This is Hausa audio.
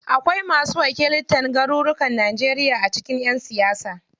Akwai masu wakiltan garurukan Najeriya a cikin ƴan siyasa.